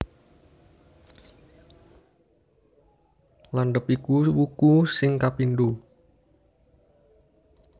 Landhep iku wuku sing kapindho